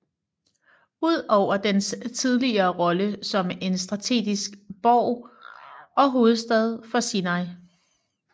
Ud over dens tidligere rolle som en strategisk borg og hovedstad for Sinai